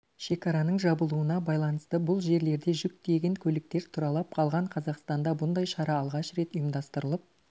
шекараның жабылуына байланысты бұл жерлерде жүк тиеген көліктер тұралап қалған қазақстанда бұндай шара алғаш рет ұйымдастырылып